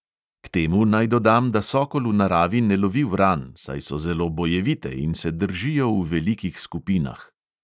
K temu naj dodam, da sokol v naravi ne lovi vran, saj so zelo bojevite in se držijo v velikih skupinah.